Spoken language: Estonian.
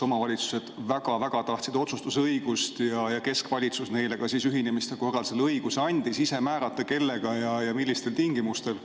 Omavalitsused väga tahtsid otsustusõigust ja keskvalitsus andis neile ühinemise korral õiguse ise määrata, kellega ja millistel tingimustel.